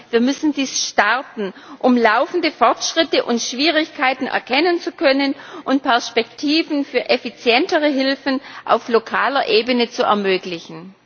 Wir müssen dies starten, um laufende Fortschritte und Schwierigkeiten erkennen zu können und Perspektiven für effizientere Hilfen auf lokaler Ebene zu ermöglichen.